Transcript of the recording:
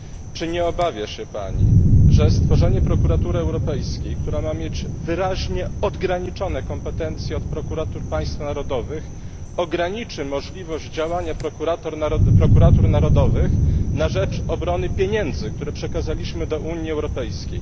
Czy nie obawia się Pani, że stworzenie Prokuratury Europejskiej, która ma mieć wyraźnie odrębne kompetencje od prokuratur państw narodowych, ograniczy możliwość działania prokuratur narodowych na rzecz obrony pieniędzy, które przekazaliśmy do Unii Europejskiej?